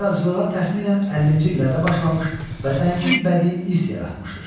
O yaradıcılığa təxminən 50-ci illərdə başlamış və zəngin bədii hiss yaratmışdır.